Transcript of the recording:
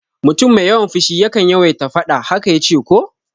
Mutum mai yawan fushi yakan yawaita faɗa, haka yace ko?